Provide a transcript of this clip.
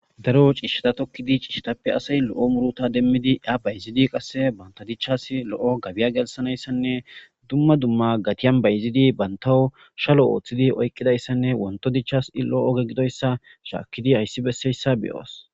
Daro ciishshata tokkidi ciishshatappe asay lo7o muruta demmidi a bayzidi qasse banta dichchas lo7o gabiya gelsanayssanne dumma dumma gatiyan bayzidi bantawo shalo ooththidi oyqqidayssanne wonto dichchas i lo7oge gidoyssa shaakkidi hayssi besseyssa be7oos.